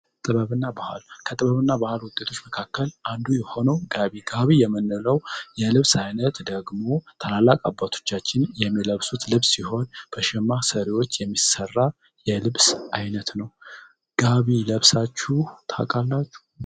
ጥበብና ባህልና ባህሩ ውጤቶች መካከል አንዱ የሆነው የልብስ አይነት ደግሞ ታላላቅ አባቶቻችን ልብስ ይሆን በሽማ ሰሪዎች የሚሠራ የልብስ አይነት ነው